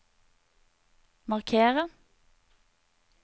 markere